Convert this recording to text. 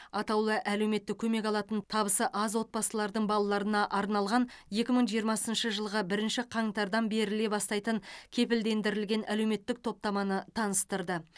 атаулы әлеуметтік көмек алатын табысы аз отбасылардың балаларына арналған екі мың жиырмасыншы жылғы бірінші қаңтардан беріле бастайтын кепілдендірілген әлеуметтік топтаманы таныстырды